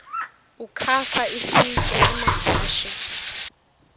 ukafa isitya amahashe